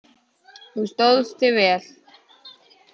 Þú stóðst þig vel.